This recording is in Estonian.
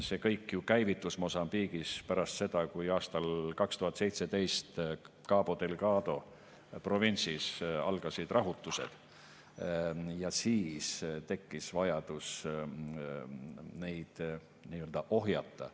See kõik ju käivitus Mosambiigis pärast seda, kui aastal 2017 Cabo Delgado provintsis algasid rahutused ja tekkis vajadus neid ohjata.